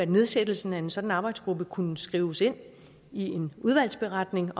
nedsættelsen af en sådan arbejdsgruppe kunne skrives ind i en udvalgsberetning